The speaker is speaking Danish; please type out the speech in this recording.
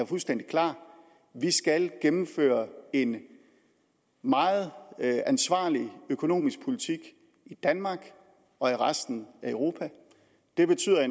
fuldstændig klart vi skal gennemføre en meget ansvarlig økonomisk politik i danmark og i resten af europa det betyder at